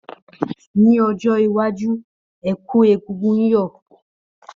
Ní ọjọ́ iwájú, ẹ̀kú egúngún yoo